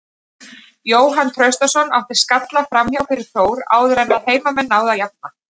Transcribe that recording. Jóhann Traustason átti skalla framhjá fyrir Þór áður en að heimamenn náðu að jafna.